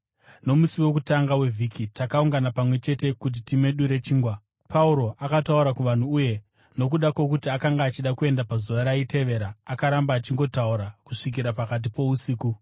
Nomusi wokutanga wevhiki takaungana pamwe chete kuti timedure chingwa. Pauro akataura kuvanhu uye, nokuda kwokuti akanga achida kuenda pazuva raitevera, akaramba achingotaura kusvikira pakati pousiku.